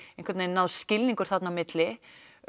nást skilningur þarna á milli